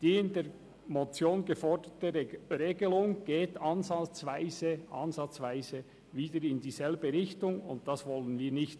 Die in der Motion geforderte Regelung geht ansatzweise wieder in dieselbe Richtung, und dies wollen wir verhindern.